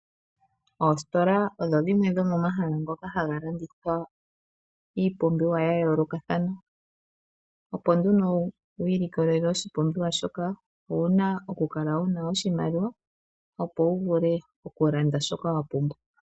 Oositola odho dhimwe dhomomahala ngoka haga landitha iipumbiwa yayoolokathana, opo nduno wiilikolele oshipumbiwa shoka owuna nee okukala wuna oshimaliwa, opo wu vule okulanda shoka wa pumbwa.